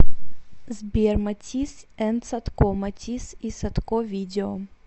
сбер матис энд садко матис и садко видео